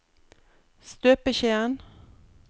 støpeskjeen